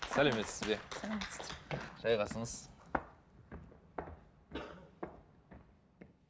сәлеметсіз бе сәлеметсіздер жайғасыңыз